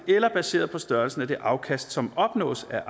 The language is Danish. eller baseret på størrelsen af det afkast som opnås af